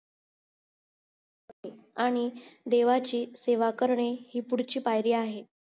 आणि देवाची सेवा करणे हि पुढची पायरी आहे